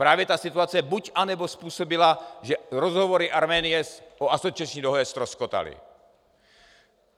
Právě ta situace buď, anebo způsobila, že rozhovory Arménie o asociační dohodě ztroskotaly.